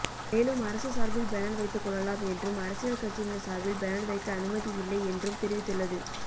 மேலும் அரசு சார்பில் பேனர் வைத்துக்கொள்ளலாம் என்றும் அரசியல் கட்சியினர் சார்பில் பேனர் வைக்க அனுமதியில்லை என்றும் தெரிவித்துள்ளது